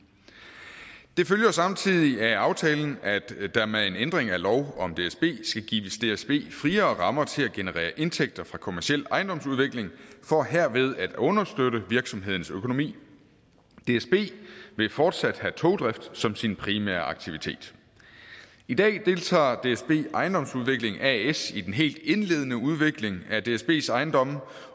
det følger samtidig af aftalen at der med en ændring af lov om dsb skal gives dsb friere rammer til at generere indtægter fra kommerciel ejendomsudvikling for herved at understøtte virksomhedens økonomi dsb vil fortsat have togdrift som sin primære aktivitet i dag deltager dsb ejendomsudvikling as i den helt indledende udvikling af dsbs ejendomme